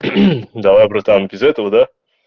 давай братан без этого да